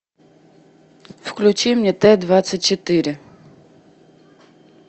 включи мне т двадцать четыре